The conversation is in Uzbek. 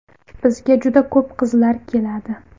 Bizga juda ko‘p qizlar keladi.